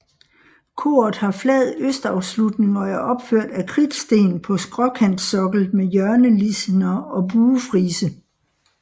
Koret har flad østafslutning og er opført af kridtsten på skråkantsokkel med hjørnelisener og buefrise